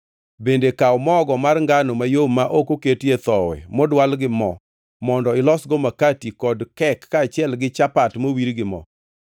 Bende kaw mogo mar ngano mayom ma ok oketie thowi modwal gi mo mondo ilosgo makati kod kek kaachiel gi chapat mowir gi mo.